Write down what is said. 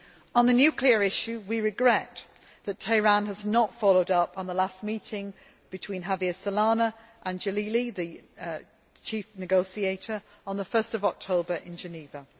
On the nuclear issue, we regret that Tehran has not followed up on the last meeting between Javier Solana and Jalili, the chief negotiator, on 1 October in Geneva.